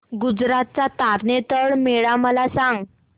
गुजरात चा तारनेतर मेळा मला सांग